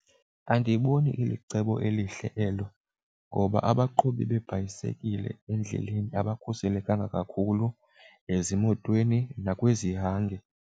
Andiyiboni ilicebo elihle elo ngoba abaqhubi beebhayisekile endleleni abakhuselekanga kakhulu ezimotweni nakwizihange.